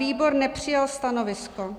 Výbor nepřijal stanovisko.